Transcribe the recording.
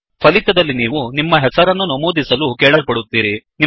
ಫಲಿತದಲ್ಲಿ ನೀವು ನಿಮ್ಮ ಹೆಸರನ್ನು ನಮೂದಿಸಲು ಕೇಳಲ್ಪಡುತ್ತೀರಿ